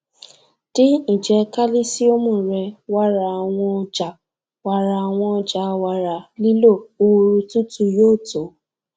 din ijẹ kálísíọ́mù rẹ wàrà àwọn ọjà wàrà àwọn ọjà nílò ooru tútù yóò tó